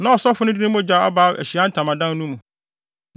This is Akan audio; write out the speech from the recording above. Na ɔsɔfo no de ne mogya aba Ahyiae Ntamadan no mu,